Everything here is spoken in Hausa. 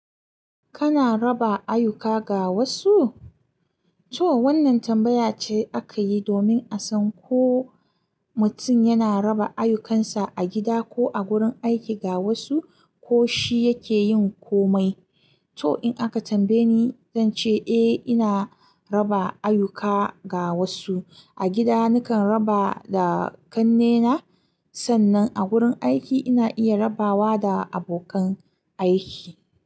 Kana raba ayuka ga wasu? To wannan tambaya ce aka yi domin a san ko mutum yana raba ayukansa a gida ko a wurin aiki ga wasu, ko shi yake yin komai. To in aka tambaye ni, zan ce eh ina raba ayuka ga wasu. A gida nakan raba da ƙannena. Sannan a wurin aiki ina iya rabawa da abokan aiki.